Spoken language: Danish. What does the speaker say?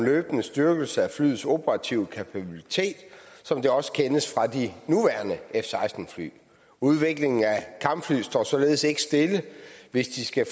løbende styrkelse af flyets operative kapabilitet som det også kendes fra de nuværende f seksten fly udviklingen af kampflyet står således ikke stille hvis det skal